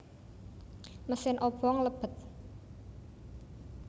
Mesin obong lebet